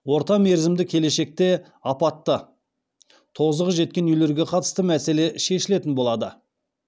орта мерзімді келешекте апатты тозығы жеткен үйлерге қатысты мәселе шешілетін болады